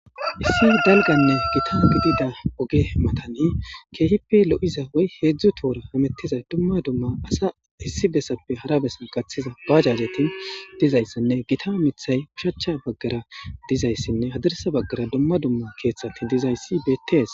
issi dalganne gita gidida oge matani keehippe lo7iza woy heedzdzu toora hamettizay dumma dumma asa issi bessappe harabessan kaththiza gaajajetin dizayssinne gita amithay bushaacha baggara dizayssinne hadarsa baggara dumma dumma keeththati dizayssi beettees